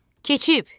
Keçib.